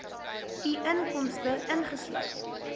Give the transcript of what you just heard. u inkomste ingesluit